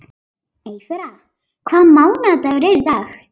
Eyþóra, hvaða mánaðardagur er í dag?